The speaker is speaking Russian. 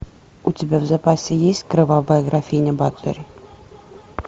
у тебя в запасе есть кровавая графиня батори